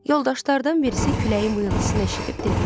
Yoldaşlardan birisi küləyin vıyıltısını eşidib dedi: